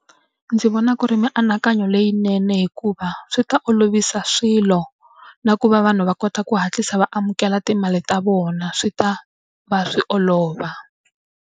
Ndzi vona ku ri mianakanyo leyinene hikuva swi ta olovisa swilo, na ku va vanhu va kota ku hatlisa va amukela timali ta vona swi ta va swi olova.